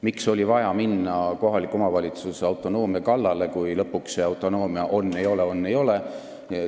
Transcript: Miks oli vaja minna kohaliku omavalitsuse autonoomia kallale, kui lõpuks see autonoomia on ja ei ole, on ja ei ole?